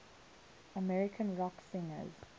american rock singers